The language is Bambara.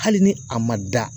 Hali ni a ma da